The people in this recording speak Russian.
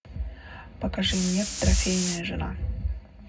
покажи мне трофейная жена